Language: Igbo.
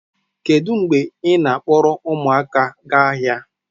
Kedu mgbe ị na-akpọrọ ụmụaka gaa ahịa